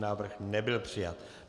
Návrh nebyl přijat.